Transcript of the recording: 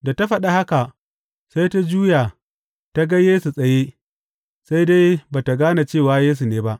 Da ta faɗin haka, sai ta juya ta ga Yesu tsaye, sai dai ba tă gane cewa Yesu ne ba.